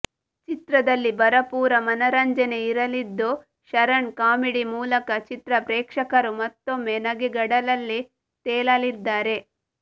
ಚಿತ್ರದಲ್ಲಿ ಭರಪೂರ ಮನರಂಜನೆ ಇರಲಿದ್ದು ಶರಣ್ ಕಾಮಿಡಿ ಮೂಲಕ ಚಿತ್ರಪ್ರೇಕ್ಷಕರು ಮತ್ತೊಮ್ಮೆ ನಗೆಗಡಲಲ್ಲಿ ತೇಲಲಿದ್ದಾರೆ